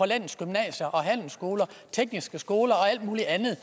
landets gymnasier og handelsskoler tekniske skoler og alt muligt andet